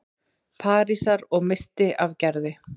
Parísar- og missti af Gerði.